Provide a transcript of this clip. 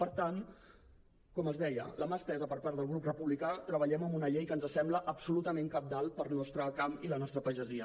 per tant com els deia la mà estesa per part del grup republicà treballem en una llei que ens sembla absolutament cabdal per al nostre camp i la nostra pagesia